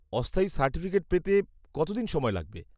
অস্থায়ী সার্টিফিকেট পেতে কতদিন সময় লাগবে?